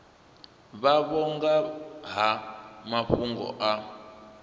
vhavho nga ha mafhungo a